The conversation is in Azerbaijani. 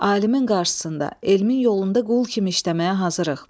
Alimin qarşısında elmin yolunda qul kimi işləməyə hazırıq.